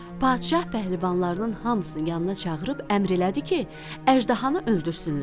Padşah pəhləvanlarının hamısını yanına çağırıb əmr elədi ki, əjdahanı öldürsünlər.